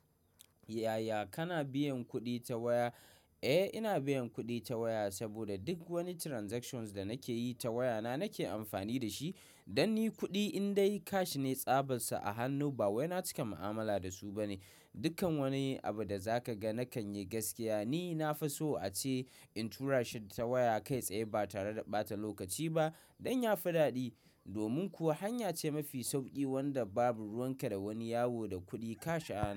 Yaya kana biyan kuɗi ta waya? Eh, ina biyan kuɗi ta waya saboda duk woni transactions da nake yi ta waya na nake amfani da shi. Don ni kuɗi in dai cash ne tsabarsu a hannu ba wai na cika mu'amala da su ba ne. Dukkan woni abu da za ka ga na kan yi gaskiya. Ni na fa so a ce in tura shi ta waya kai tsaye ba tare da ɓata lokaci ba don yafi ɗaɗi. Domin kuwa hanya ce mafi sauƙi wanda babu ruwan ka da woni yawo da kuɗi kash a hannu.